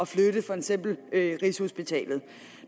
flytte for eksempel rigshospitalet